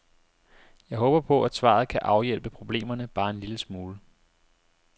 Jeg håber på, at svaret kan afhjælpe problemerne bare en lille smule.